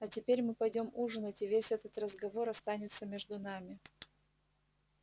а теперь мы пойдём ужинать и весь этот разговор останется между нами